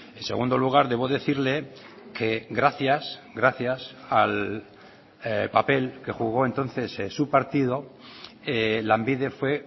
en segundo lugar debo decirle que gracias gracias al papel que jugó entonces su partido lanbide fue